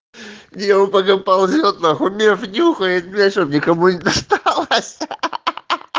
не он по мне ползёт нахуй меф нюхает блять чтобы никому не досталось ахаха